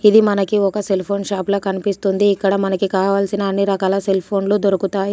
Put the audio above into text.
ఇది మనకి ఒక సెల్ఫోన్ షాపులా కనిపిస్తుంది. ఇక్కడ మనకి కావాల్సిన అన్ని రకాల సెల్ఫోన్లు దొరుకుతాయి.